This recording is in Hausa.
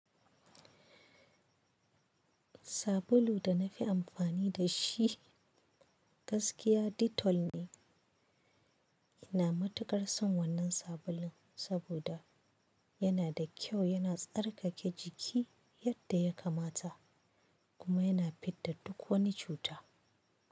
Sabulun da na fi amfani da shi gaskiya Dettol ne. Ina matuƙar son wannan sabulun saboda yana da kyau, yana tsarkake jiki yadda ya kamata kuma yana fidda duk wani cuta.